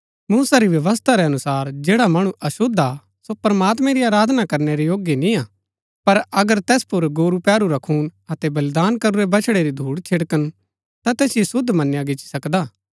मूसा री व्यवस्था रै अनुसार जैड़ा मणु अशुद्ध हा सो प्रमात्मैं री आराधना करनै रै योग्य निय्आ पर अगर तैस पुर गोरू पैहरू रा खून अतै बलिदान करूरै बछड़ै री धूड छिड़कन ता तैसिओ शुद्ध मनया गिच्ची सकदा हा